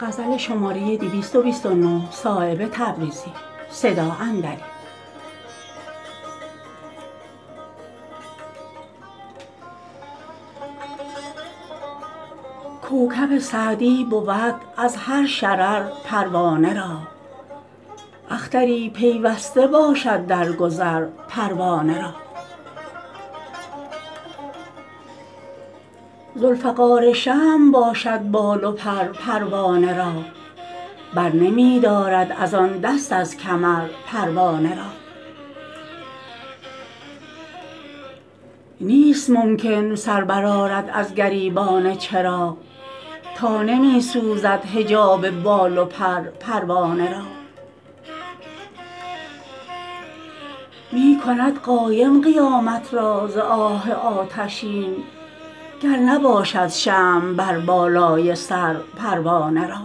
کوکب سعدی بود از هر شرر پروانه را اختری پیوسته باشد در گذر پروانه را ذوالفقار شمع باشد بال و پر پروانه را برنمی دارد ازان دست از کمر پروانه را نیست ممکن سر برآرد از گریبان چراغ تا نمی سوزد حجاب بال و پر پروانه را می کند قایم قیامت را ز آه آتشین گر نباشد شمع بر بالای سر پروانه را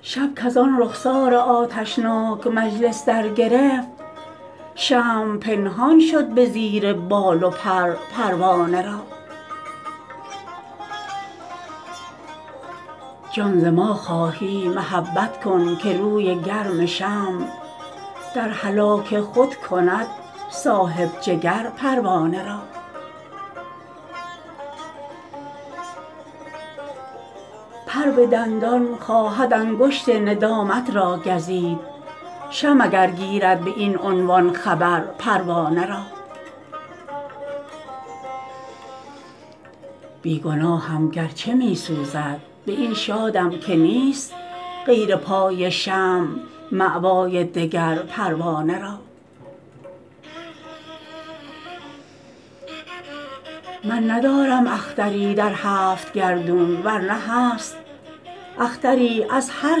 شب کز آن رخسار آتشناک مجلس در گرفت شمع پنهان شد به زیر بال و پر پروانه را جان ز ما خواهی محبت کن که روی گرم شمع در هلاک خود کند صاحب جگر پروانه را پر به دندان خواهد انگشت ندامت را گزید شمع اگر گیرد به این عنوان خبر پروانه را بی گناهم گرچه می سوزد به این شادم که نیست غیر پای شمع مأوای دگر پروانه را من ندارم اختری در هفت گردون ورنه هست اختری از هر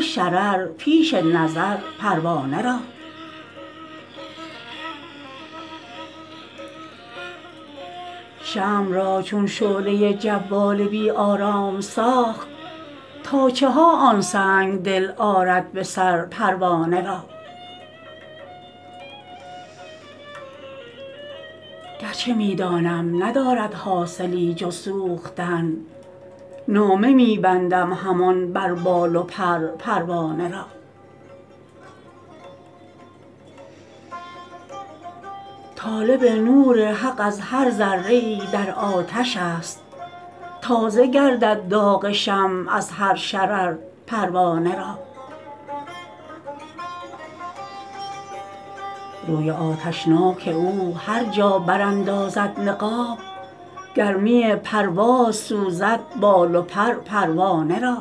شرر پیش نظر پروانه را شمع را چون شعله جواله بی آرام ساخت تا چها آن سنگدل آرد به سر پروانه را گرچه می دانم ندارد حاصلی جز سوختن نامه می بندم همان بر بال و پر پروانه را طالب نور حق از هر ذره ای در آتش است تازه گردد داغ شمع از هر شرر پروانه را روی آتشناک او هر جا براندازد نقاب گرمی پرواز سوزد بال و پر پروانه را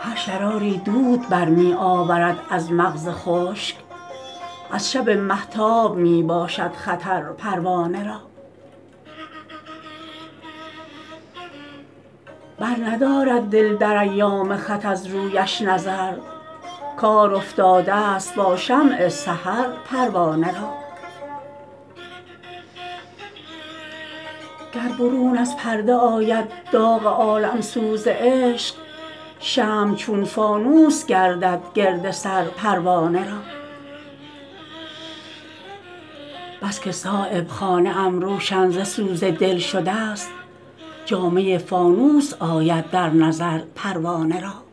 هر شراری دود برمی آورد از مغز خشک از شب مهتاب می باشد خطر پروانه را بر ندارد دل در ایام خط از رویش نظر کار افتاده است با شمع سحر پروانه را گر برون از پرده آید داغ عالمسوز عشق شمع چون فانوس گردد گردسر پروانه را بس که صایب خانه ام روشن ز سوز دل شده است جامه فانوس آید در نظر پروانه را